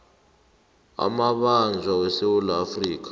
amabanjwa wesewula afrika